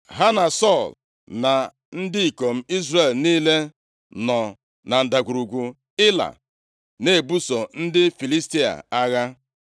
Ha na Sọl na ndị ikom Izrel niile, nọ na ndagwurugwu Ịla, na-ebuso ndị Filistia agha.